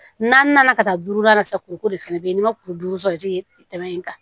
N'an nana ka taa duuru la sisan kuruko de fana bɛ yen n'i ma kuru duuru sɔrɔ jigi tɛmɛ in kan